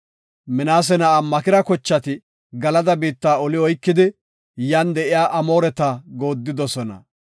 Minaase na7aa Makira kochati Galada biitta oli oykidi yan de7iya Amooreta goodidosona.